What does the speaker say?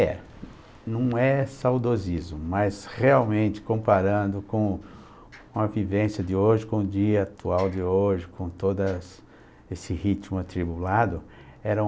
É, não é saudosismo, mas realmente comparando com com a vivência de hoje, com o dia atual de hoje, com todo essa esse ritmo atribulado, eram...